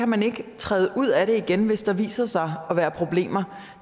man ikke kan træde ud af det igen hvis der viser sig at være problemer